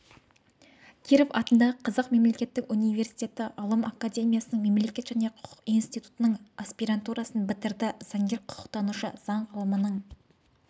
киров атындағы қазақ мемлекеттік университетті ғылым академиясының мемлекет және құқық институтының аспирантурасын бітірді заңгер-құқықтанушы заң ғылымының